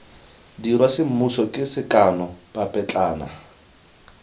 dirwa semmuso ke sekano papetlana